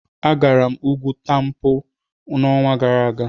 Agara m ugwu Tempo n'ọnwa gara aga.